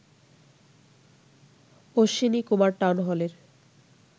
Ashwini Kumar town হলের